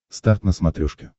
старт на смотрешке